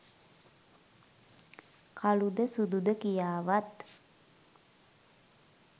කළුද සුදුද කියාවත්